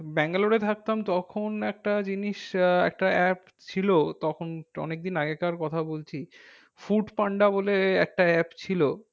ব্যাঙ্গালোরে থাকতাম তখন একটা জিনিস আহ একটা apps ছিল তখন অনেক দিন আগেকার কথা বলছি ফুড পান্ডা বলে একটা app ছিল।